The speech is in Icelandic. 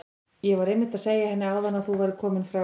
Ég var einmitt að segja henni áðan að þú værir kominn frá